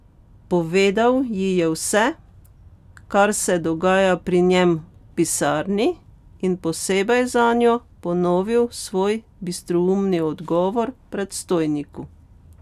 Povedal ji je vse, kar se dogaja pri njem v pisarni in posebej zanjo ponovil svoj bistroumni odgovor predstojniku.